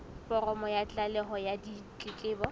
foromo ya tlaleho ya ditletlebo